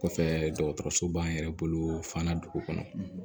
Kɔfɛ dɔgɔtɔrɔso b'an yɛrɛ bolo fan na dugu kɔnɔ